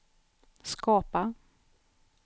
skapa